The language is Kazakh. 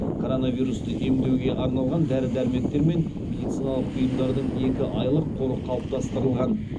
коронавирусты емдеуге арналған дәрі дәрмектер мен медициналық бұйымдардың екі айлық қоры қалыптастырылған